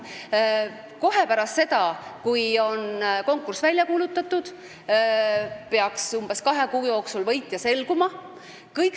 Umbes kahe kuu jooksul pärast seda, kui konkurss on välja kuulutatud, peaks võitja selguma.